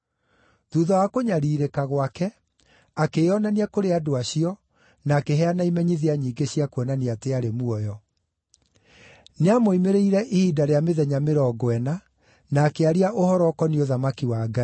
Thuutha wa kũnyariirĩka gwake, akĩĩonania kũrĩ andũ acio na akĩheana imenyithia nyingĩ cia kuonania atĩ aarĩ muoyo. Nĩamoimĩrĩire ihinda rĩa mĩthenya mĩrongo ĩna, na akĩaria ũhoro ũkoniĩ ũthamaki wa Ngai.